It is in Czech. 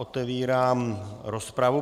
Otevírám rozpravu.